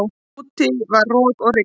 Úti var rok og rigning.